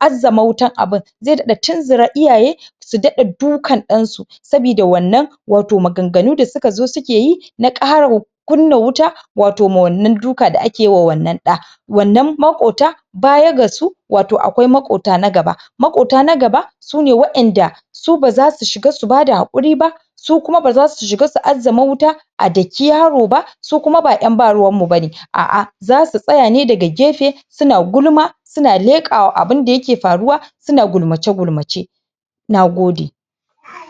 azzama wato wutar abun Zai ɗaɗa tunzura iyaye Su ɗaɗa dukan dansu Sabida wannan Wato maganganu da suka zo sukeyi Na kara Kunna wuta Wato ma wannan duka da ake yima wannan ɗa Wannan makwabta Bayan ga su Wato akwai makwabta na gaba Makwabta na gaba Sune wadanda Su, baza su shiga su bada hakuri ba Su kuma baza su shiga su azzama wuta A daki yaro ba Su kuma ba yan ba ruwan mu bane aa Zasu tsaya ne daga gefe Suna gulma Suna leƙa abunda yake faruwa Suna gulmace gulmace Na gode